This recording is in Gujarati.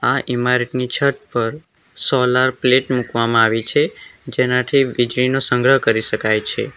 આ ઈમારતની છત પર સોલાર પ્લેટ મૂકવામાં આવી છે જેનાથી વીજળીનો સંગ્રહ કરી શકાય છે.